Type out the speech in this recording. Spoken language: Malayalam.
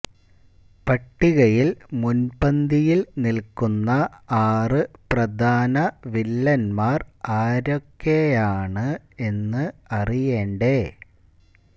പട്ടികയില് മുന്പന്തിയില് നില്ക്കുന്ന ആറ് പ്രധാന വില്ലന്മാര് ആരൊക്കെയാണ് എന്ന് അറിയണ്ടേ